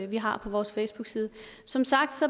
vi har på vores facebookside som sagt